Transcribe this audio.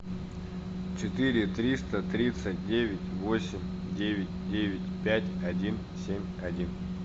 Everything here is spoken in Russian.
четыре триста тридцать девять восемь девять девять пять один семь один